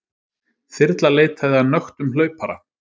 Þyrla leitaði að nöktum hlaupara